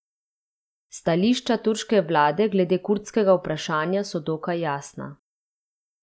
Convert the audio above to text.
Stališča turške vlade glede kurdskega vprašanja so dokaj jasna.